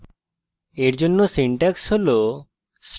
এর জন্য syntax হল